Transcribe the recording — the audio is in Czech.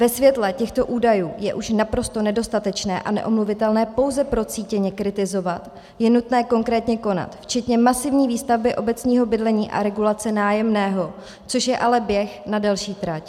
Ve světle těchto údajů je už naprosto nedostatečné a neomluvitelné pouze procítěně kritizovat, je nutné konkrétně konat, včetně masivní výstavby obecního bydlení a regulace nájemného, což je ale běh na delší trať.